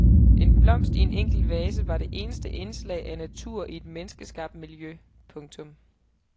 En blomst i en enkel vase var det eneste indslag af natur i et menneskeskabt miljø. punktum